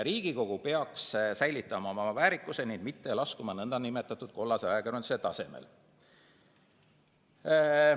Riigikogu peaks säilitama oma väärikuse ning mitte laskuma nn kollase ajakirjanduse tasemele.